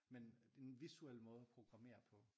Men det en visuel måde at programmere på